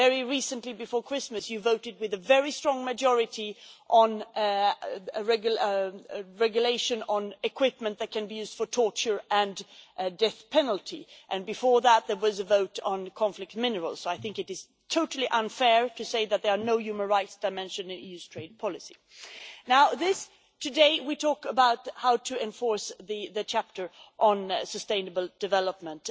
Very recently, before Christmas, you voted with a very strong majority in favour of the regulation for equipment that can be used for torture and the death penalty. Before that, there was a vote on conflict minerals, so I think it is totally unfair to say that there is no human rights dimension in EU trade policy. Today we are talking about how to enforce the chapter on sustainable development